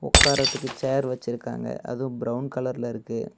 உக்காரதுக்கு chair வச்சிருக்காங்க அதுவும் brown கலர்ல இருக்கு.